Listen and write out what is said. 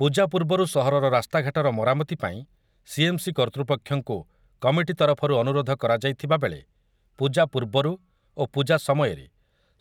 ପୂଜା ପୂର୍ବରୁ ସହରର ରାସ୍ତାଘାଟର ମରାମତି ପାଇଁ ସିଏମ୍‌ସି କର୍ତ୍ତୃପକ୍ଷଙ୍କୁ କମିଟି ତରଫରୁ ଅନୁରୋଧ କରାଯାଇଥିବା ବେଳେ ପୂଜା ପୂର୍ବରୁ ଓ ପୂଜା ସମୟରେ